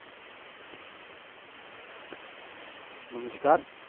નમસ્કાર